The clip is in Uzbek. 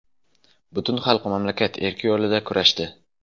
Butun xalq mamlakat erki yo‘lida kurashdi.